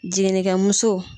Jiginnikɛmuso